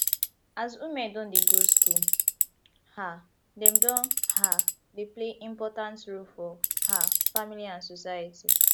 as women don dey go school um dem don um dey play important role for um family and society